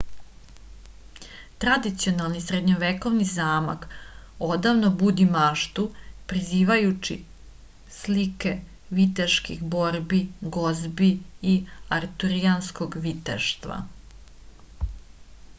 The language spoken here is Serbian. tradicionalni srednjovekovni zamak odavno budi maštu prizivajući slike viteških borbi gozbi i arturijanskog viteštva